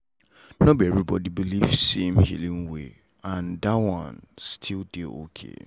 no be everybody believe same healing way and that one still dey okay.